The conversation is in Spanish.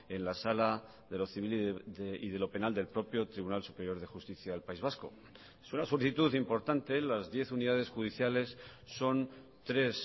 en la sala de lo civil y de lo penal del propio tribunal superior de justicia del país vasco es una solicitud importante las diez unidades judiciales son tres